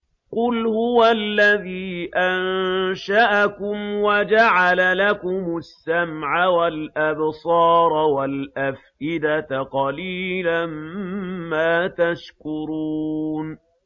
قُلْ هُوَ الَّذِي أَنشَأَكُمْ وَجَعَلَ لَكُمُ السَّمْعَ وَالْأَبْصَارَ وَالْأَفْئِدَةَ ۖ قَلِيلًا مَّا تَشْكُرُونَ